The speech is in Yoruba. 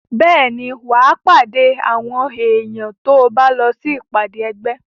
Bẹ́ẹ̀ ni, wà á pàdé àwọn èèyàn tó bá lọ sí ìpàdé ẹgbẹ́.